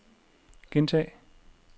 gentag